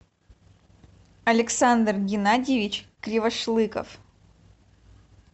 александр геннадьевич кривошлыков